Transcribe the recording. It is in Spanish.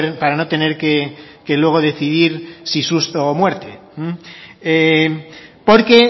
para no tener que luego decidir si susto o muerte porque